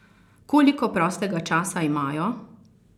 Koliko prostega časa imajo?